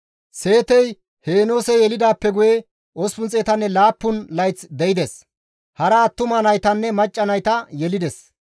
Seetey Heenoose yelidaappe guye 807 layth de7ides; hara attuma naytanne macca nayta yelides.